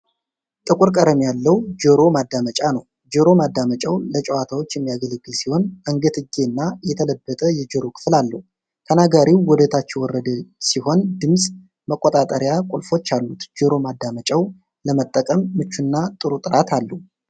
ጥቁር ቀለም ያለው ጆሮ ማዳመጫ ነው። ጆሮ ማዳመጫው ለጨዋታዎች የሚያገለግል ሲሆን አንገትጌ እና የተለበጠ የጆሮ ክፍል አለው። ተናጋሪው ወደታች የወረደ ሲሆን ድምፅ መቆጣጠሪያ ቁልፎች አሉ። ጆሮ ማዳመጫው ለመጠቀም ምቹና ጥሩ ጥራት አለው።